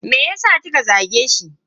Meyasa kika zage shi?